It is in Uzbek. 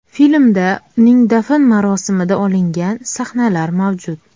Filmda uning dafn marosimida olingan sahnalar mavjud.